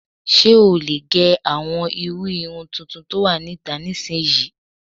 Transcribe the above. Ṣé o lè gẹ àwọn irú irun tuntun tó wà níta nísinyi?